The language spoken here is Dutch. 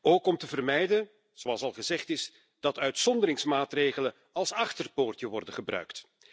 Ook om te vermijden, zoals al gezegd is, dat uitzonderingsmaatregelen als achterdeurtje worden gebruikt.